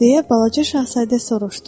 deyə balaca şahzadə soruşdu.